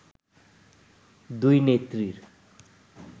“দুই নেত্রীর